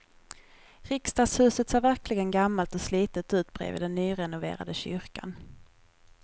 Riksdagshuset ser verkligen gammalt och slitet ut bredvid den nyrenoverade kyrkan.